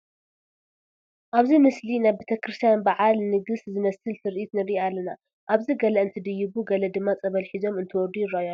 ኣብዚ ምስሊ ናይ ቤተ ክርስቲያን በዓለ ንግስ ዝመስል ትርኢት ንርኢ ኣለና፡፡ ኣብዚ ገለ እንትድይቡ ገለ ድማ ፀበል ሒዞም እንትወርዱ ይርአዩ ኣለዉ፡፡